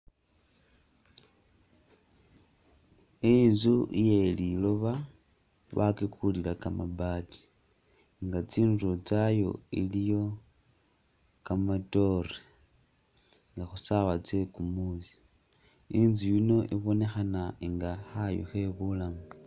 Inzu iye liloba nga bakikulila kamaabati nga tsindulo tsayo iliyo kamaatore nga khusawa tsekumusi itsu yino ibonekhana nga khayu khe bulamu .